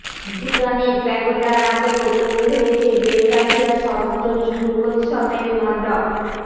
ভুটানের প্যাগোডার আদলে তৈরি হয়েছে বেলগাছিয়া সর্বজনীন দুর্গোৎসবের মণ্ডপ